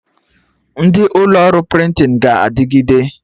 Ndị ụlọ ọrụ prịntịn ga-adịgide